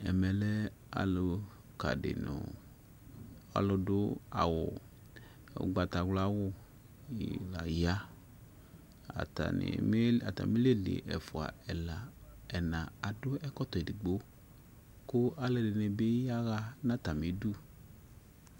Ɛmɛ lɛ aluka di nu ɔlu du awu ugbatawlawu ya atamili li ɛfua ɛla ɛna adu ɛkɔtɔ edigbo ku alu ɛdini bi yaɣa nu atamidu